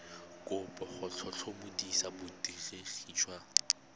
kopo go tlhotlhomisa borutegi jwa